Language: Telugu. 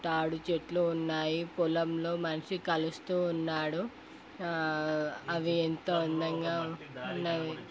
తాడి చెట్లు ఉన్నాయి. పొలంలో మనిషి కలుస్తూ ఉన్నాడు. అవి ఎంతో అందంగా ఉన్నాయి.